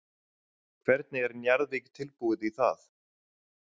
Hvernig er Njarðvík tilbúið í það?